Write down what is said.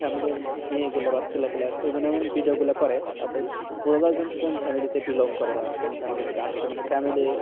family মেয়ে গুলো বা ছেলে গুলো এমন এমন ভিডিও গুলো করে তাদের বোঝা যাই যে কোন family থেকে bilong করে বা কোন family থেকে আসছে মানে family